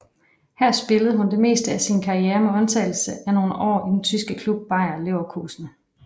Her spillede hun det meste af sin karriere med undtagelse af nogle år i den tyske klub Bayer Leverkusen